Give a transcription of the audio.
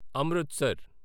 Amritsar